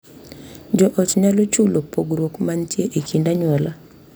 Jo ot nyalo chulo pogruok mantie e kind anyuola,